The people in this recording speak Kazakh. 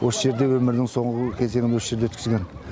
осы жерде өмірінің соңғы кезеңін осы жерде өткізген